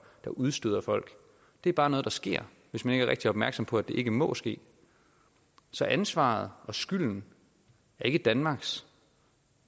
der udstøder folk det er bare noget der sker hvis man ikke rigtig er opmærksom på at det ikke må ske så ansvaret og skylden er ikke danmarks